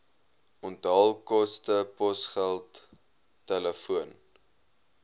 onthaalkoste posgeld telefoon